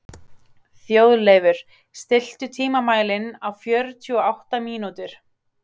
Þjóðleifur, stilltu tímamælinn á fjörutíu og átta mínútur.